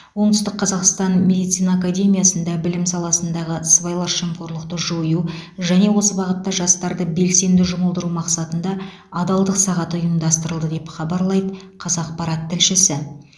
оңтүстік қазақстан медицина академиясында білім саласындағы сыбайлас жемқорлықты жою және осы бағытта жастарды белсенді жұмылдыру мақсатында адалдық сағаты ұйымдастырылды деп хабарлайды қазақпарат тілшісі